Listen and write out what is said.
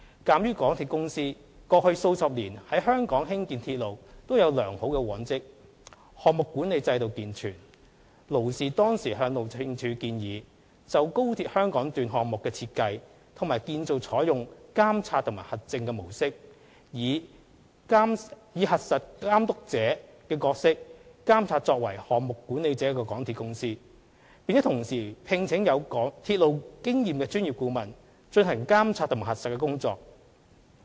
鑒於港鐵公司過去數十年在香港興建鐵路均有良好往績，項目管理制度健全，勞氏當時向路政署建議，就高鐵香港段項目的設計和建造採用"監察和核證"的模式，以"核實監督者"的角色監察作為"項目管理者"的港鐵公司，並同時聘請有鐵路經驗的專業顧問，進行監察和核實的工作。